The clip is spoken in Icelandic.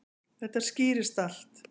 Þetta skýrist allt.